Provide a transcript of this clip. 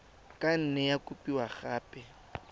ka nne ya kopiwa gape